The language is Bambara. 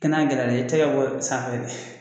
Kɛna gɛlɛya dɛ i tɛgɛ bɔ sanfɛ de